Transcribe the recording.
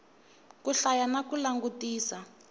ku hlaya na ku langutisa